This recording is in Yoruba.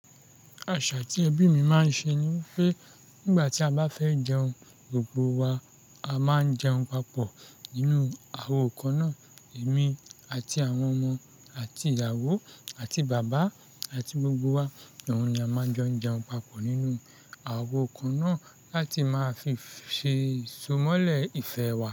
Àṣà tí ẹbí mi máa ń ṣe ni pé nígbà tí a bá fẹ́ jẹun gbogbo wa, a máa ń jẹun papọ̀ nínú àwo kan náà. Èmi àti àwọn ọmọ àti ìyàwó àti bàbá àti gbogbo wa, òun ni a máa ń jọ jẹun papọ̀ nínú àwo kan náà láti máa fi ṣe ìsomọ́lẹ̀ ìfẹ́ wa.